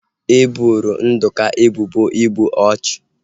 E boro Nduka ebubo igbu ọchụ